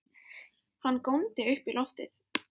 Hann góndi upp í loftið!